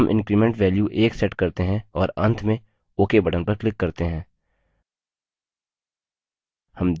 अब हम increment value 1सेट करते हैं और अंत में ok button पर click करते हैं